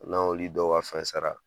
N'an y'oli dɔ ka fɛn sara